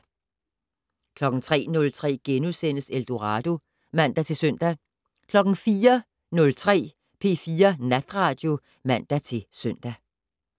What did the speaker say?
03:03: Eldorado *(man-søn) 04:03: P4 Natradio (man-søn)